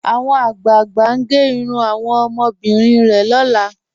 Awọn agbáàgbà n gè irùn awọn omọbìrín rẹ̀ lọ́lá.